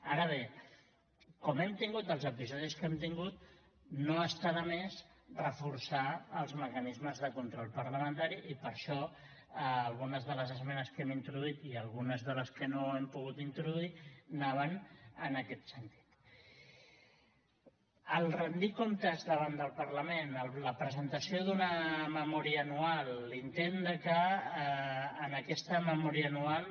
ara bé com que hem tingut els episodis que hem tingut no està de més reforçar els mecanismes de control parlamentari i per això algunes de les esmenes que hem introduït i algunes de les que no hem pogut introduir anaven en aquest sentit rendir comptes davant del parlament la presentació d’una memòria anual l’intent de que en aquesta memòria anual